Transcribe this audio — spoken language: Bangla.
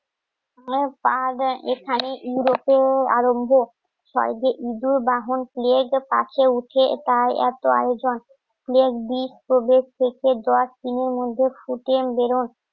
পা দেয় এখানে ইউরোতে আরম্ভ কালকে ইঁদুর বাহন প্লেট কাছে উঠে তাই এতো আয়োজন একদিন কোভিড থেকে দশ দিনের মধ্যে ফুটেন বেরোন